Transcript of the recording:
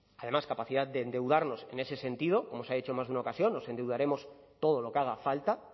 además capacidad de endeudarnos en ese sentido como se ha dicho en más de una ocasión nos endeudaremos todo lo que haga falta